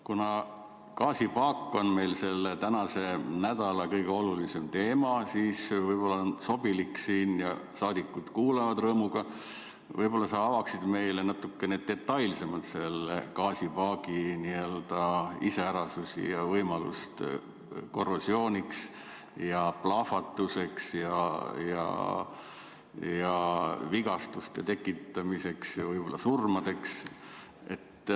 Kuna gaasipaak on meil selle nädala kõige olulisem teema, siis võib-olla on sobilik – saadikud kuulavad rõõmuga –, kui sa võib-olla avaksid meile natukene detailsemalt selle gaasipaagi iseärasusi ja võimalust korrosiooniks, plahvatuseks, vigastuste tekitamiseks ja võib-olla surmadeks.